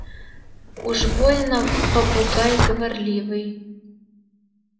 уж больно попугай говорливый